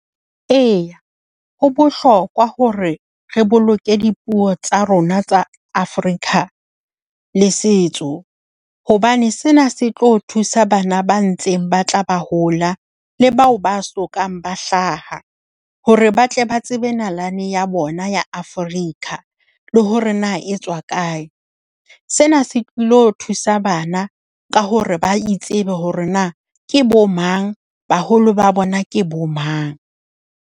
E, ho bohlokwa hore re boloke dipuo tsa rona tsa Afrika le setso hobane sena se tlo thusa bana ba ntseng ba tla ba hola le bao ba sokang ba hlaha hore ba tle ba tsebe nalane ya bona ya Afrika le hore na etswa kae. Sena se tlilo thusa bana ka hore ba itsebe hore na ke bomang, baholo ba bona ke bomang.